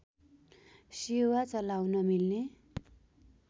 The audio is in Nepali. सेवा चलाउन मिल्ने